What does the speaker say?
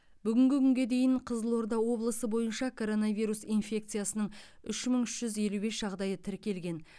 бүгінгі күнге дейін қызылорда облысы бойынша коронавирус инфекциясының үш мың үш жүз елу бес жағдайы тіркелген